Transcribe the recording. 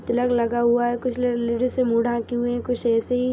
colour लगा हुआ है कुछ ल लेडीज मुंह ढकी हुई है कुछ ऐसे ही --